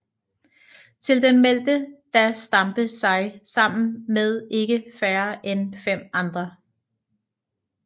Til den meldte da Stampe sig sammen med ikke færre end 5 andre